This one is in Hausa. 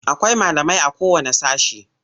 Akwai malamai.a kowanne sashe.